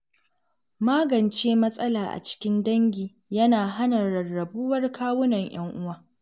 Magance matsala a cikin dangi yana hana rarrabuwar kawunan yan'uwa.